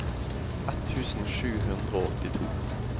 ett tusen sju hundre og åttito